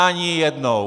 Ani jednou!